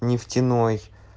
нефтяной